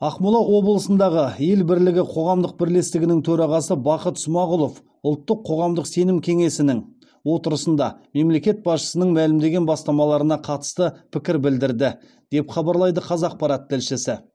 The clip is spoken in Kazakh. ақмола облысындағы ел бірлігі қоғамдық бірлестігінің төрағасы бақыт смағұлов ұлттық қоғамдық сенім кеңесінің отырысында мемлекет басшысының мәлімдеген бастамаларына қатысты пікір білдірді деп хабарлайды қазақпарат тілшісі